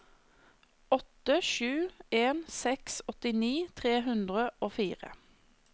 åtte sju en seks åttini tre hundre og fire